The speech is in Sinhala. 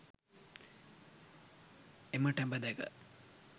එම ටැඹ දැක